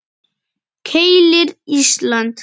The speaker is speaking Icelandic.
Keilir, Ísland.